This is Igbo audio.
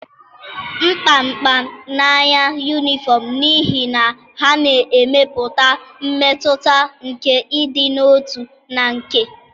m kpamkpam n'anya uniforms n'ihi na ha na-emepụta mmetụta nke ịdị n'otu na nke.